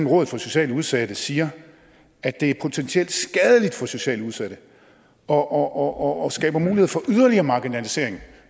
rådet for socialt udsatte siger at det er potentielt skadeligt for socialt udsatte og skaber mulighed for yderligere marginalisering